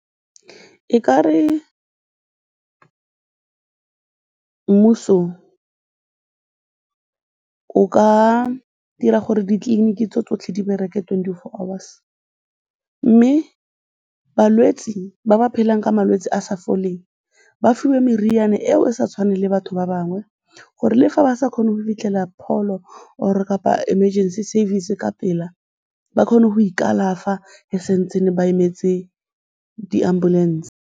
E ka re mmuso o ka dira gore ditleliniki tsotlhe di bereke twenty-four hours mme balwetse ba ba phelang ka malwetse a a sa foleng ba fiwe meriane eo e sa tshwaneng le ya batho ba bangwe gore le fa ba sa kgone go fitlhelela pholo or-o kapa emergency service ka pela, ba kgone go ikalafa e sa ntse ba emetse di-ambulance.